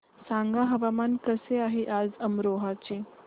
सांगा हवामान कसे आहे आज अमरोहा चे